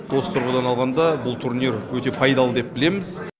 осы тұрғыдан алғанда бұл турнир өте пайдалы деп білеміз